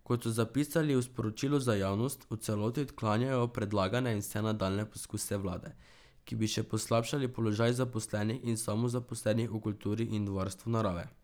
Kot so zapisali v sporočilu za javnost, v celoti odklanjajo predlagane in vse nadaljnje poskuse vlade, ki bi še poslabšali položaj zaposlenih in samozaposlenih v kulturi in varstvu narave.